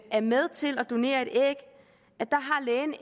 er med til at donere